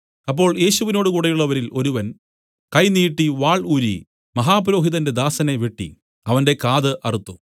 അപ്പോൾ യേശുവിനോടു കൂടെയുള്ളവരിൽ ഒരുവൻ കൈ നീട്ടി വാൾ ഊരി മഹാപുരോഹിതന്റെ ദാസനെ വെട്ടി അവന്റെ കാത് അറുത്തു